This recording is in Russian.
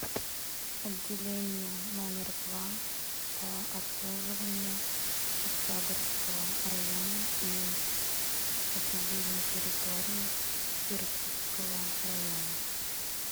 отделение номер два по обслуживанию октябрьского района и сопредельной территории иркутского района